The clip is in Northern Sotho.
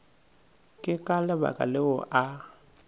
ke ka lebaka leo a